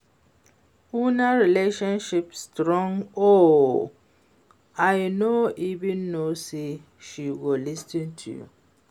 Una relationship strong oo, I no even know say she go lis ten to you